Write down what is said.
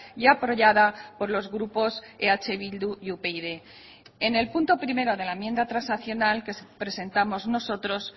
y apoyada por los grupos eh bildu y upyd en el punto primero de la enmienda transaccional que presentamos nosotros